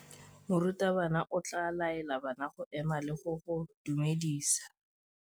Morutabana o tla laela bana go ema le go go dumedisa.